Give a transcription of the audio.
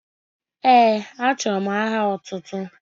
Ee, achọrọ m aha otụtụ.